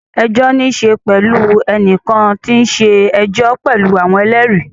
Ẹjọ́ ní í ṣe pẹ̀lú ẹnìkan tí ó ń ṣe ẹjọ́ pẹ̀lú àwọn ẹlẹ́rìí.